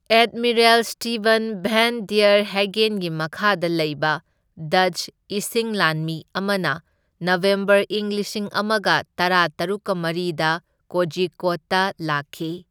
Admiral Steven van der ꯍꯦꯒꯦꯟꯒꯤ ꯃꯈꯥꯗ ꯂꯩꯕ ꯗꯆ ꯏꯁꯤꯡ ꯂꯥꯟꯃꯤ ꯑꯃꯅ ꯅꯕꯦꯝꯕꯔ ꯏꯪ ꯂꯤꯁꯤꯡ ꯑꯃꯒ ꯇꯔꯥꯇꯔꯨꯛꯀ ꯃꯔꯤꯗ ꯀꯣꯖꯤꯀꯣꯗꯇ ꯂꯥꯛꯈꯤ꯫